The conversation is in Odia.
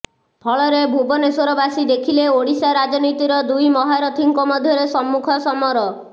ଫଳରେ ଭୁବନେଶ୍ୱରବାସୀ ଦେଖିଲେ ଓଡ଼ିଶା ରାଜନୀତିର ଦୁଇ ମହାରଥିଙ୍କ ମଧ୍ୟରେ ସମ୍ମୁଖ ସମର